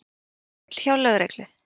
Erill hjá lögreglu